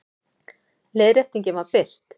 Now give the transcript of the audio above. Leiðréttingin var birt